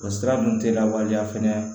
O sira ninnu tɛ lawaleya fɛnɛ